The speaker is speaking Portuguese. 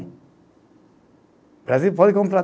O Brasil pode comprar.